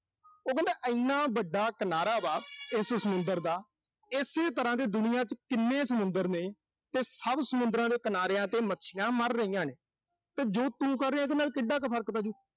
ਉਹ ਕਹਿੰਦੇ ਇਨਾ ਵੱਡਾ ਕਿਨਾਰਾ ਵਾ, ਇਸ ਸਮੁੰਦਰ ਦਾ। ਇਸੇ ਤਰ੍ਹਾਂ ਦੇ ਦੁਨੀਆਂ ਚ ਕਿੰਨੇ ਸਮੁੰਦਰ ਨੇ, ਤੇ ਸਭ ਸਮੁੰਦਰਾਂ ਦੇ ਕਿਨਾਰਿਆਂ ਤੇ ਮੱਛੀਆਂ ਮਰ ਰਹੀਆਂ ਨੇ। ਤੇ ਜੋ ਤੂੰ ਕਰ ਰਿਹਾਂ, ਉਹਦੇ ਨਾਲ ਕਿੱਡਾ ਕੁ ਫਰਕ ਪੈਜੂ।